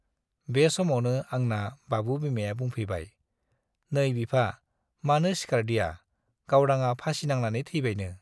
बे समावनो आंना बाबु बिमाया बुंफैबाय, नै बिफा, मानो सिखारदिया, गावदांआ फासि नांनानै थैबायनो।